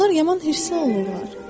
İlanlar yaman hirslənirlər.